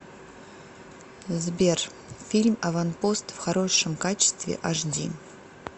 сбер фильм аванпост в хорошем качестве аш ди